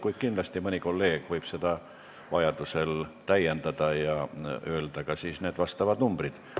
Kuid kindlasti mõni kolleeg võib veel küsida ja öelda seda tehes ka nende muudatusettepanekute numbrid.